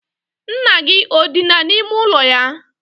Nna gị o dina n'ime ụlọ ya?